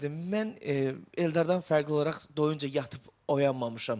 Mən Eldardan fərqli olaraq doyunca yatıb oyanmamışam.